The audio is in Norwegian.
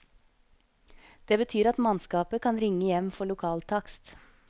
Det betyr at mannskapet kan ringe hjem for lokaltakst.